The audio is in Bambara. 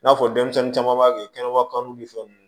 N'a fɔ denmisɛnnin caman b'a kɛ kɛnɛba kan ni fɛn nunnu